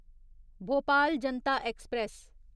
Bhopal Janata express